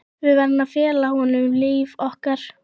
Við verðum að fela honum líf okkar.